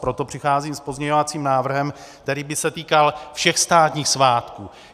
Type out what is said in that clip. Proto přicházím s pozměňovacím návrhem, který by se týkal všech státních svátků.